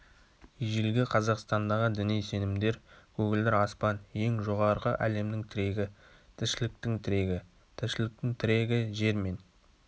ежелгі қазақстандағы діни сенімдер көгілдір аспан ең жоғарғы әлемнің тірегі тіршіліктің тірегі тіршіліктің тірегі жер мен